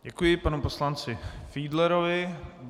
Děkuji panu poslanci Fiedlerovi.